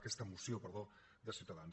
aquesta moció perdó de ciutadans